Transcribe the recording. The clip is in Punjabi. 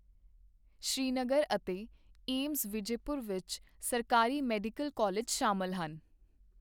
ਸ੍ਰੀਨਗਰ ਅਤੇ ਏਮਜ਼ ਵਿਜੈਪੁਰ ਵਿੱਚ ਸਰਕਾਰੀ ਮੈਡੀਕਲ ਕਾਲਜ ਸ਼ਾਮਲ ਹਨ।